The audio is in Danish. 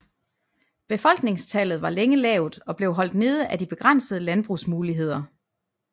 Befolkningstallet var længe lavt og blev holdt nede af de begrænsede landbrugsmuligheder